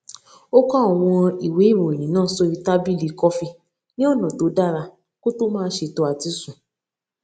ó kó àwọn ìwé ìròyìn náà sórí tábìlì kọfí ní ọnà tó dára kó tó máa ṣètò àtisùn